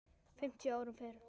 fimmtíu árum fyrr.